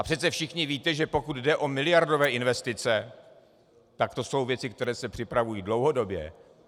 A přece všichni víte, že pokud jde o miliardové investice, tak to jsou věci, které se připravují dlouhodobě.